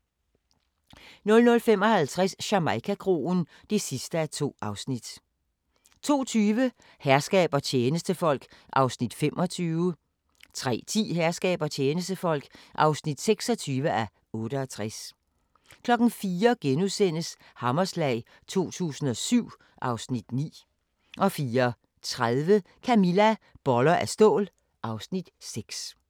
00:55: Jamaica-kroen (2:2) 02:20: Herskab og tjenestefolk (25:68) 03:10: Herskab og tjenestefolk (26:68) 04:00: Hammerslag 2007 (Afs. 9)* 04:30: Camilla - Boller af stål (Afs. 6)